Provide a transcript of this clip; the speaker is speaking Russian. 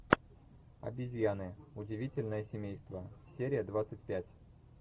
обезьяны удивительное семейство серия двадцать пять